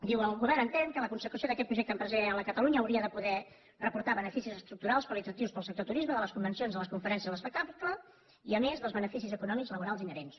diu el govern entén que la consecució d’aquest projecte empresarial a catalunya hauria de poder reportar beneficis estructurals qualitatius per al sector turisme de les convencions de les conferències de l’espectacle i a més dels beneficis econòmics laborals inherents